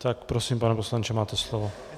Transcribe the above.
Tak prosím, pane poslanče, máte slovo.